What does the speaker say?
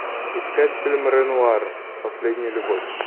искать фильм ренуар последняя любовь